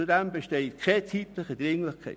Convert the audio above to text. Zudem besteht keine zeitliche Dringlichkeit.